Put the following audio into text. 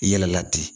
I yɛlɛla ten